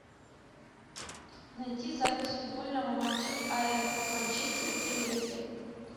найти запись футбольного матча апл манчестер и лестер